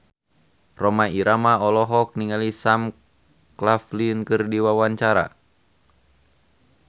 Rhoma Irama olohok ningali Sam Claflin keur diwawancara